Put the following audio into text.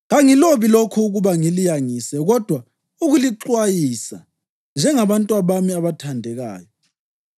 Kangilobi lokhu ukuba ngiliyangise kodwa ukulixwayisa njengabantwabami abathandekayo.